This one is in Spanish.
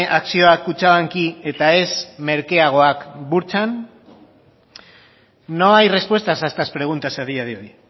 akzioak kutxabanki eta ez merkeagoak burtsan no hay respuestas a estas preguntas a día de hoy